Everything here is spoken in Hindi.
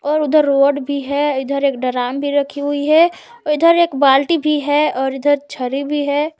और उधर रोड भी है इधर एक ड्रम भी रखा हुआ है और इधर एक बाल्टी भी है और इधर छड़ी भी है।